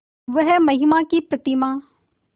वह महिमा की प्रतिमा